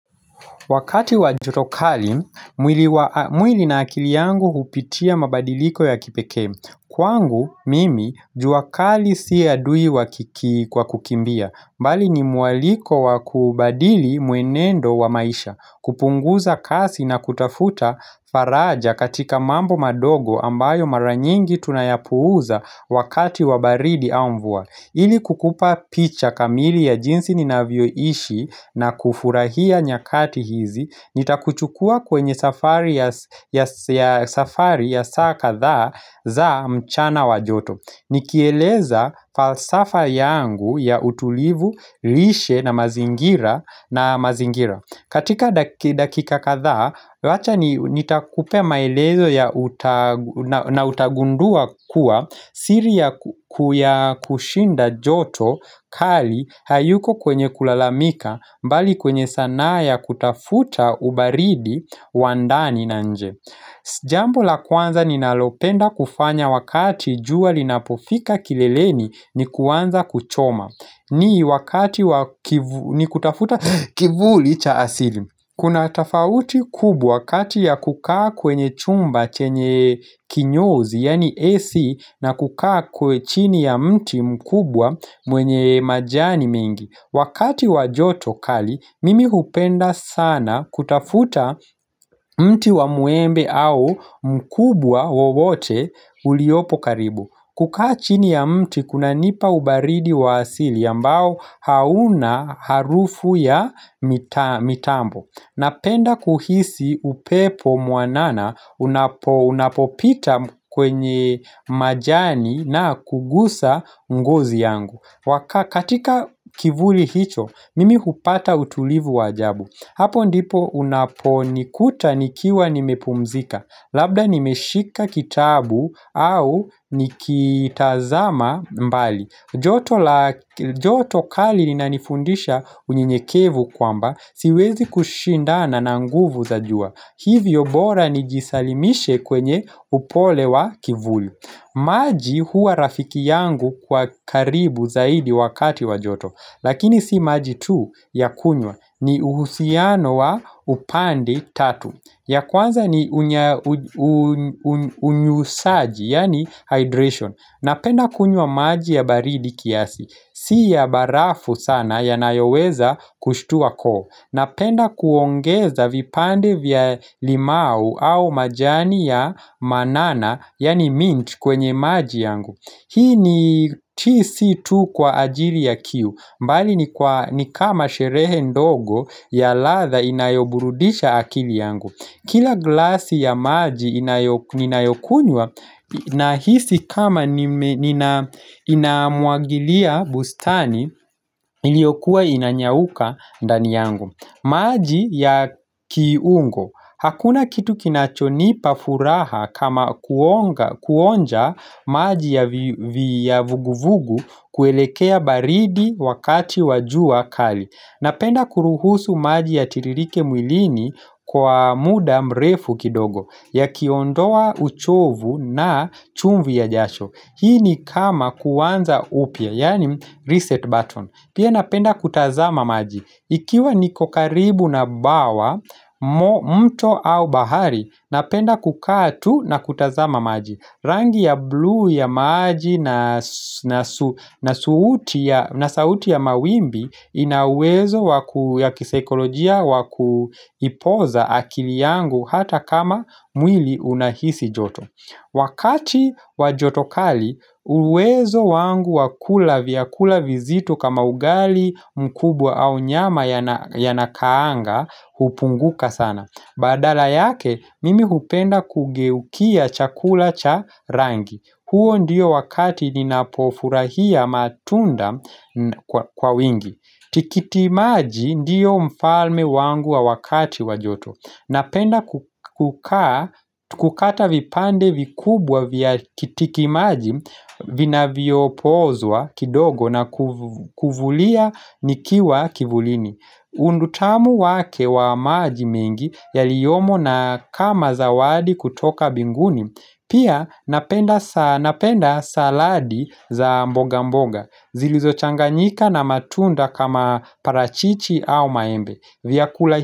Wakati wa joto kali, mwili na akili yangu hupitia mabadiliko ya kipekee. Kwangu, mimi, jua kali si adui wa kiki kwa kukimbia. Mbali ni mwaliko wa kubadili mwenendo wa maisha. Kupunguza kasi na kutafuta faraja katika mambo madogo ambayo mara nyingi tunayapuuza wakati wa baridi au mvua. Ili kukupa picha kamili ya jinsi ninavyoishi na kufurahia nyakati hizi, nitakuchukua kwenye safari ya saa kadhaa za mchana wa joto. Nikieleza falsafa yangu ya utulivu, lishe na mazingira na mazingira. Katika dakika kadhaa, wacha nitakupa maelezo ya na utagundua kuwa siri ya kushinda joto kali hayuko kwenye kulalamika bali kwenye sanaa ya kutafuta ubaridi wandani na nje. Jambu la kwanza ninalopenda kufanya wakati jua linapofika kileleni ni kuanza kuchoma ni wakati wa, ni kutafuta kivuli cha asili. Kuna tafauti kubwa kati ya kukaa kwenye chumba chenye. Kinyozi yaani AC na kukaa chini ya mti mkubwa mwenye majani mengi. Wakati wa joto kali mimi hupenda sana kutafuta mti wa mwembe au mkubwa wowote uliopo karibu. Kukaa chini ya mti kunanipa ubaridi wa asili ambao hauna harufu ya mitambo. Napenda kuhisi upepo mwanana unapo unapopita kwenye majani na kugusa ngozi yangu katika kivuli hicho, mimi hupata utulivu wa ajabu. Hapo ndipo unaponikuta nikiwa nimepumzika. Labda nimeshika kitabu au nikitazama mbali joto kali lininanifundisha unyenyekevu kwamba siwezi kushindana na nguvu za jua. Hivyo bora nijisalimishe kwenye upole wa kivuli. Maji hua rafiki yangu kwa karibu zaidi wakati wa joto. Lakini si maji tu ya kunywa, ni uhusiano wa upande tatu. Ya kwanza ni unyusaji. Yaani hydration. Napenda kunywa maji ya baridi kiasi. Si ya barafu sana yanayoweza kushtua koo. Napenda kuongeza vipande vya limau au majani ya manana yaani, mint kwenye maji yangu. Hii ni, hii sii tu kwa ajili ya kiu, bali ni kama sherehe ndogo ya ladha inayoburudisha akili yangu. Kila glasi ya maji ninayokunywa Nahisi kama inamwagilia bustani iliyokuwa inanyauka ndani yangu. Maji ya kiungo Hakuna kitu kinachonipa furaha kama kuonga, kuonja maji ya vuguvugu kuelekea baridi wakati wa jua kali. Napenda kuruhusu maji yatiririke mwilini kwa muda mrefu kidogo yakiondoa uchovu na chumvi ya jasho. Hii ni kama kuanza upya, yaani, reset button. Pia napenda kutazama maji Ikiwa niko karibu na bwawa, mto au bahari. Napenda kukaa tu na kutazama maji. Rangi ya bluu ya maji na na sauti ya mawimbi ina uwezo ya kisaikolojia wa kuipoza akili yangu hata kama mwili unahisi joto. Wakati wa joto kali uwezo wangu wa kula vyakula vizito kama ugali mkubwa au nyama yanakaanga hupunguka sana. Badala yake, mimi hupenda kugeukia chakula cha rangi. Huo ndiyo wakati ninapofurahia matunda kwa wingi. Tikitimaji ndiyo mfalme wangu wa wakati wa joto. Napenda kukaa kukata vipande vikubwa vya tikitimaji Vinavyopozwa kidogo na kuvulia nikiwa kivulini utamu wake wa maji mengi yaliyomo na kama zawadi kutoka binguni. Pia napenda saladi za mboga mboga zilizochanganyika na matunda kama parachichi au maembe.